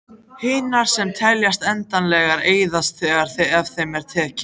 Hinar, sem teljast endanlegar, eyðast þegar af þeim er tekið.